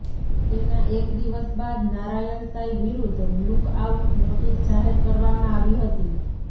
તેના એક દિવસ બાદ નારાયણ સાંઇ વિરૂદ્ધ લુકઆઉટ નોટીસ જાહેર કરવામાં આવી હતી